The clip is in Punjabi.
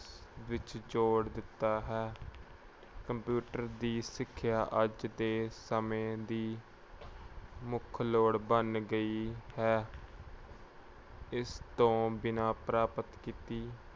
ਵਿੱਚ ਜੋੜ ਦਿੱਤਾ ਹੈ। computer ਦੀ ਸਿੱਖਿਆ ਅੱਜ ਦੇ ਸਮੇਂ ਦੀ ਮੁੱਖ ਲੋੜ ਬਣ ਗਈ ਹੈ। ਇਸ ਤੋਂ ਬਿਨਾਂ ਪ੍ਰਾਪਤ ਕੀਤੀ